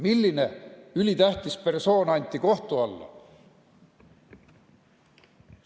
Milline ülitähtis persoon anti kohtu alla?